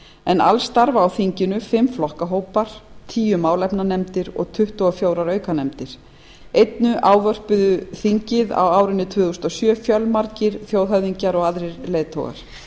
en alls starfa á þinginu fimm flokkahópar tíu málefnanefndir og tuttugu og fjögur aukanefndir einnig ávörpuðu þingið fjölmargir þjóðhöfðingjar og aðrir leiðtogar